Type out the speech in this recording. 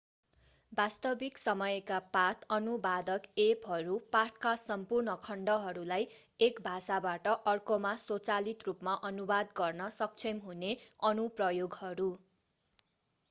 वास्तविक-समयका पाठ अनुवादक एपहरू पाठका सम्पूर्ण खण्डहरूलाई एक भाषाबाट अर्कोमा स्वचालित रूपमा अनुवाद गर्न सक्षम हुने अनुप्रयोगहरू